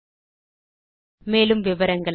மேற்கொண்டு விவரங்கள் எங்கள் வலைத்தளத்தில் கிடைக்கும்